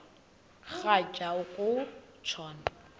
rhatya uku tshona